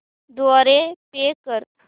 द्वारे पे कर